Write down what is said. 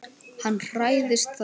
Hann hræðist það.